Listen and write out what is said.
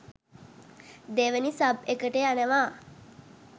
දෙවැනි සබ් එකට යනවා.